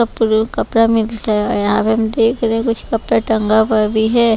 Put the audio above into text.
कपड़ा मिलता है हम देख रहे कुछ कपड़ा टंगा हुआ भी है।